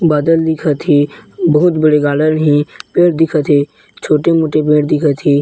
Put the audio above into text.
बादल दिखत हे बहुत बड़े गार्डन हे पेड़ दिखत हे छोटे मोटे पेड़ दिखत हे।